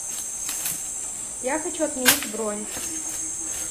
я хочу отменить бронь